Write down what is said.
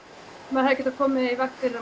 maður hefði getað komið í veg fyrir